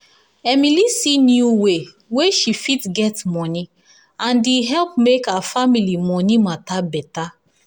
emily see new way wey she fit get money and e help make her family money matter better.